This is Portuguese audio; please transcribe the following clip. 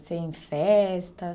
Você ia em festa?